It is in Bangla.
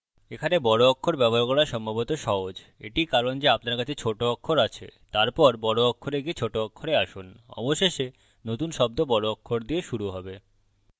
এখানে বড় অক্ষর ব্যবহার করা সম্ভবত সহজ এটিই কারণ যে upper কাছে ছোট অক্ষর আছে তারপর বড় অক্ষরে গিয়ে ছোট অক্ষরে আসুন অবশেষে নতুন শব্দ বড় অক্ষর দিয়ে শুরু have